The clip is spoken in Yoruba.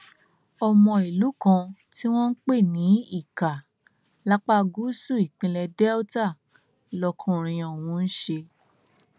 ọmọ ìlú kan tí wọn ń pè ní ika lápá gúúsù ìpínlẹ delta lọkùnrin ọhún ń ṣe